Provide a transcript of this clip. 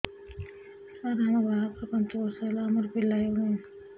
ସାର ଆମ ବାହା ଘର ପାଞ୍ଚ ବର୍ଷ ହେଲା ଆମର ପିଲା ହେଉନାହିଁ